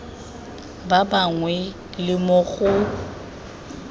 ba bangwe le mo go